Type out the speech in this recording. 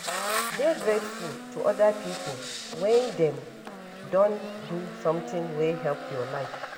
Dey grateful to oda pipo when dem don do something wey help your life